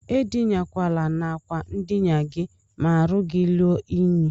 Edinakwana n'akwa ndina gi ma arụ gi rue inyi.